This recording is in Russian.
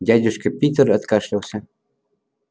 дядюшка питер откашлялся